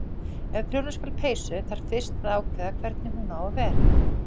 Ef prjóna skal peysu þarf fyrst að ákveða hvernig hún á að vera.